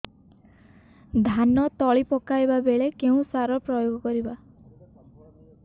ଧାନ ତଳି ପକାଇବା ବେଳେ କେଉଁ ସାର ପ୍ରୟୋଗ କରିବା